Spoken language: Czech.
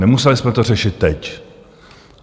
Nemuseli jsme to řešit teď.